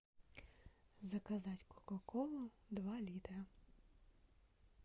заказать кока колу два литра